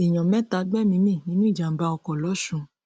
èèyàn mẹta gbẹmíín mi nínú ìjàmbá ọkọ lọsùn